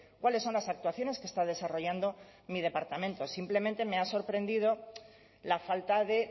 cuáles son las actuaciones que está desarrollando mi departamento simplemente me ha sorprendido la falta de